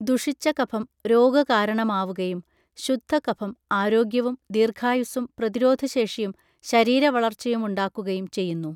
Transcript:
ദുഷിച്ച കഫം രോഗകാരണമാവുകയും ശുദ്ധ കഫം ആരോഗ്യവും ദീർഘായുസ്സും പ്രതിരോധശേഷിയും ശരീരവളർച്ചയുമുണ്ടാക്കുകയും ചെയ്യുന്നു